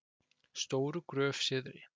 Stóru Gröf Syðri